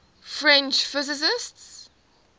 french physicists